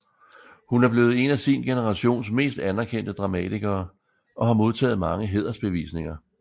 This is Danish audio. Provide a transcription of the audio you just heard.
Hun er blevet en af sin generations mest anerkendte dramatikere og har modtaget mange hædersbevisninger